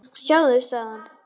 Sjáðu, sagði hann.